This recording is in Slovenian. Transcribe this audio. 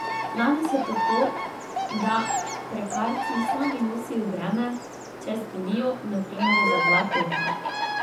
Danes je tako, da prekarci sami nosijo breme, če zbolijo, na primer, za dva tedna.